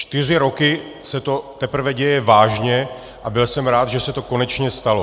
Čtyři roky se to teprve děje vážně a byl jsem rád, že se to konečně stalo.